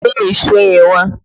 Gbé èso yẹn wá!